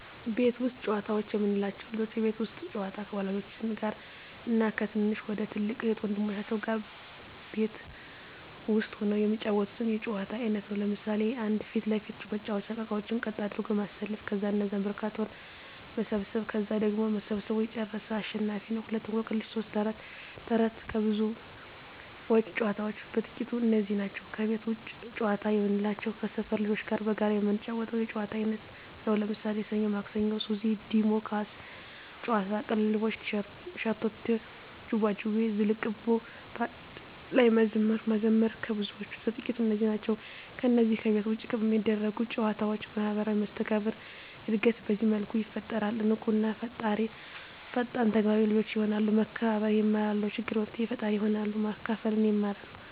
ቤት ውስጥ ጨዋታዎች የምንላቸው፦ ልጆች የቤት ውስጥ ጨዋታ ከወላጆች ጋር እና ከትንሽ ወይም ከትልቅ እህት ወንድሞቻቸው ጋር ቤት ውስጥ ሁነው የሚጫወቱት የጨዋታ አይነት ነው። ለምሣሌ 1. ፊት ለፊት መጫዎቻ እቃቃዎችን ቀጥ አድርጎ ማሠለፍ ከዛ እነዛን በካርቶን መሰብሠብ ከዛ ቀድሞ ሠብስቦ የጨረሠ አሸናፊ ነው፤ 2. እቆቅልሽ 3. ተረት ተረት ከብዙዎች ጨዋታዎች በጥቃቱ እነዚህ ናቸው። ከቤት ውጭ ጨዋታ የምንላቸው ከሠፈር ልጆች ጋር በጋራ የምንጫወተው የጨዋታ አይነት ነው። ለምሣሌ፦ ሠኞ ማክሠኞ፤ ሱዚ፤ ዲሞ፤ ኳስ ጨዋታ፤ ቅልልቦሽ፤ ሸርተቴ፤ ዥዋዥዌ፤ ዝልቁብ፤ በአንድ ላይ መዝሙር መዘመር ከብዙዎቹ በጥቂቱ እነዚህ ናቸው። ከነዚህ ከቤት ውጭ ከሚደረጉ ጨዎች ማህበራዊ መስተጋብር እድገት በዚህ መልኩ ይፈጠራል። ንቁ እና ፈጣን ተግባቢ ልጆች የሆናሉ፤ መከባበር የማራሉ፤ ለችግር መፍትሔ ፈጣሪ ይሆናሉ፤ ማካፈልን ይማራ፤